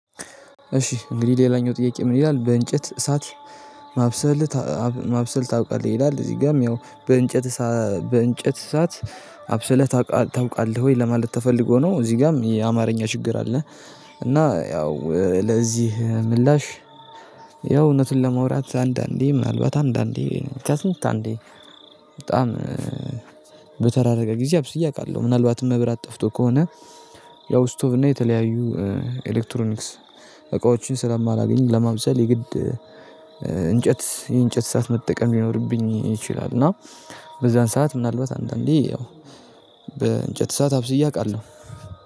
እሺ እንግዲህ ሌላኛው ጥያቄ ምን ይላል? በእንጨት እሳት ማብሰል ማብሰል ታውቃለህ ይላል እዚህ ጋም ያው በእንጨት በእንጨት እሳት አብሰለህ ታውቃለህ ወይ ለማለት ተፈልጎ ነው? እዚህ ጋም የአማርኛ ችግር አለ። እና ያው ለዚህ ምላሽ ያው እውነትን ለማውራት አንዳንዴ ምናልባት አንዳንዴ ከስንት አንዴ። በጣም በተራረቀ ጊዜ አብስዬ አውቃለሁ ምናልባትም መብራት ጠፍቶ ከሆነ። ያው ስቶቭ እና የተለያዩ ኤሌክትሮኒክስ እቃዎችን ስለማላገኝ ለማብሰል የግድ እንጨት የእንጨት እሳት መጠቀም ሊኖርብኝ ይችላል። እና በዛን ሰዓት ምናልባት አንዳንዴ ያው በእንጨት እሳት አብስዬ አውቃለሁ።